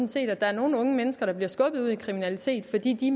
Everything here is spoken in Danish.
set at der er nogle unge mennesker der bliver skubbet ud i kriminalitet fordi de